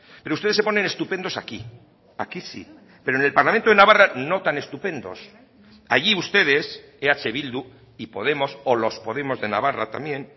pero ustedes se ponen estupendos aquí aquí sí pero en el parlamento de navarra no tan estupendos allí ustedes eh bildu y podemos o los podemos de navarra también